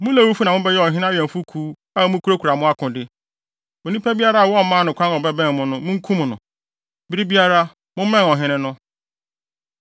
Mo Lewifo na mobɛyɛ ɔhene ho awɛmfo kuw, a mukurakura mo akode. Onipa biara a wɔmmaa no kwan a ɔbɛbɛn mo no, munkum no. Bere biara, mommɛn ɔhene no.”